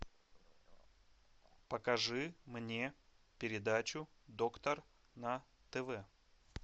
покажи мне передачу доктор на тв